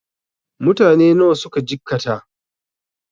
Mutane nawa suka jikkata?